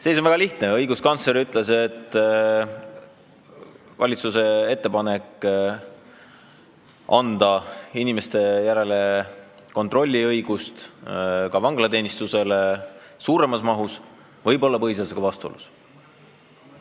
Seis on väga lihtne: õiguskantsler on öelnud, et valitsuse ettepanek anda ka vanglateenistusele õigus suuremas mahus inimesi kontrollida võib olla põhiseadusega vastuolus.